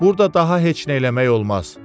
Burda daha heç nə eləmək olmaz.